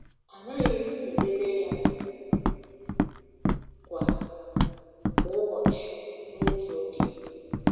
Anaghị m elele ya kwa kwa ụbọchị n'otu oge.